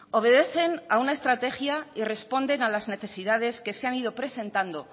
obedecen a una estrategia y responden a las necesidades que se han ido presentando